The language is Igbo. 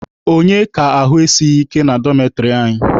Onye ka ahụ esighi ike na dọmetịrị anyị?